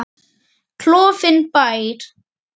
Klofinn bær.